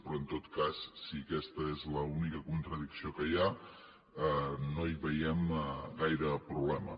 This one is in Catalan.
però en tot cas si aquesta és l’única contradicció que hi ha no hi veiem gaire problema